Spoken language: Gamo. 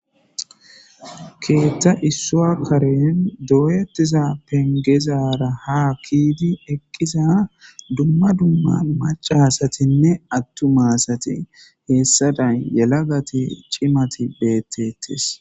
Keetta issua karen doyetiza pengezara ha kiidi eqqisa dumma dumman macahasatinne attu maasati heessaday yelagati chimati beettettes.